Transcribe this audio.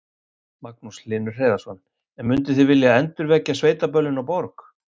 Magnús Hlynur Hreiðarsson: En munduð þið vilja endurvekja sveitaböllin á Borg?